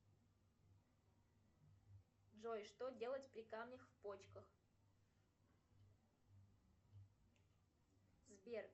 джой что делать при камнях в почках сбер